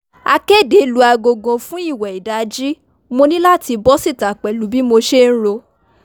akéde lu agogo fún ìwẹ̀ ìdajì mo ní láti bọ́ síta pẹ̀lú bí mo ṣe ń ro